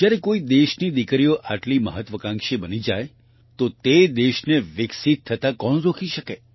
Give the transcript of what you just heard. જ્યારે કોઈ દેશની દીકરીઓ આટલી મહત્વાકાંક્ષી બની જાય તો તે દેશને વિકસિત થતા કોણ રોકી શકે